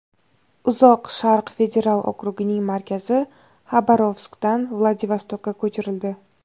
Uzoq Sharq federal okrugining markazi Xabarovskdan Vladivostokka ko‘chirildi.